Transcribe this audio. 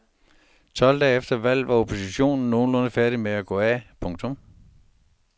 Tolv dage efter valget var oppositionen nogenlunde færdig med at gå af. punktum